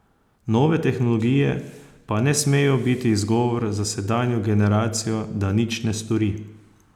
Nove tehnologije pa ne smejo biti izgovor za sedanjo generacijo, da nič ne stori.